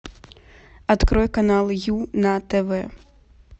открой канал ю на тв